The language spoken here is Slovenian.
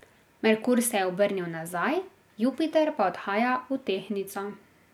Merkur se je obrnil nazaj, Jupiter pa odhaja v Tehtnico.